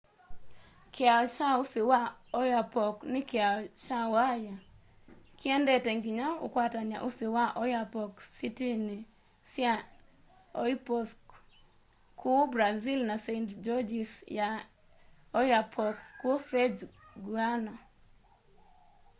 kiao kya usi wa oyapock ni kiao kya waya kiendete nginya ukwatany'a usi wa oyapock sitini sya oiapoque kuu brazil na saint-georges ya i'oyapock kuu french guiana